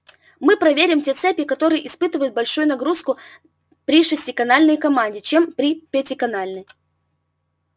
мы проверим те цепи которые испытывают большую нагрузку при шестиканальной команде чем при пятиканальной